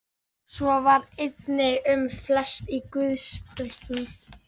Svo var einnig um flest í guðspekinni.